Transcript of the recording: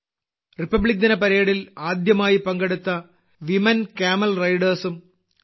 റിപ്പബ്ലിക്ദിന പരേഡിൽ ആദ്യമായി പങ്കെടുത്ത വുമെൻ കാമൽ റൈഡർസ് ഉം സി